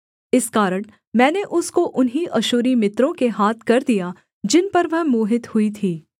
इस कारण मैंने उसको उन्हीं अश्शूरी मित्रों के हाथ कर दिया जिन पर वह मोहित हुई थी